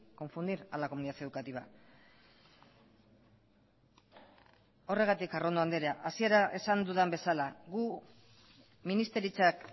confundir a la comunidad educativa horregatik arrondo andrea hasieran esan dudan bezala gu ministeritzak